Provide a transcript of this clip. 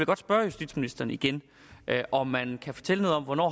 godt spørge justitsministeren igen om man kan fortælle noget om hvornår